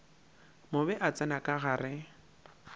mobe a tsena ka gare